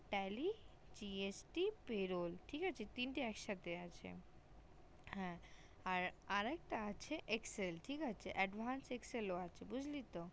tally gst payroll ঠিক আছে তিন তে একসাথে আছে হ্যা আরেক তা excel ঠিক আছে advance excel আছে বুজলি তো